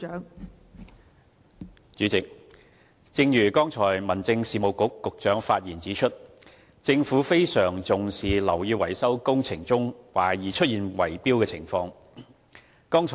代理主席，正如剛才民政事務局局長發言指出，政府非常重視樓宇維修工程中懷疑出現圍標的情況。